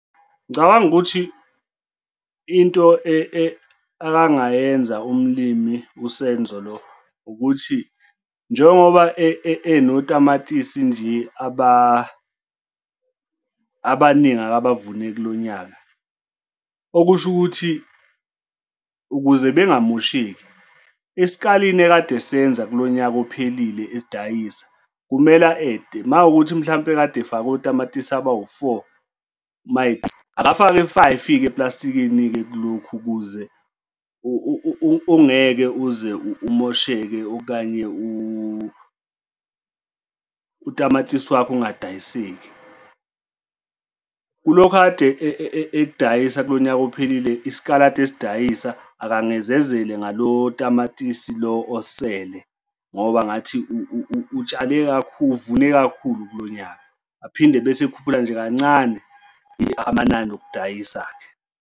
Ngicabanga ukuthi into akangayenzi umlimi uSenzo lo ukuthi njengoba enotamatisi nje, abaningi akabavune kulo nyaka, okusho ukuthi ukuze bengamosheki esikalini ekade esenza kulo nyaka ophelile esidayisa, kumele a-ede uma kuwukuthi mhlampe kade efake otamatisi abawu-four, akafake u-five-ke eplastikini-ke kulokhu ukuze ungeke uze umosheke, okanye utamatisi wakho ungadayiseki. Kulokhu akade ekudayisa kulo nyaka ophelile isaladi ekade esidayisa, akangezezele ngalo tamatisi lo osele ngoba ngathi utshale kakhulu, uvune kakhulu kulo nyaka. Aphinde ebese ekhuphula nje kancane amanani okudayisa-ke.